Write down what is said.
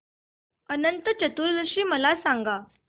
अनंत चतुर्दशी मला सांगा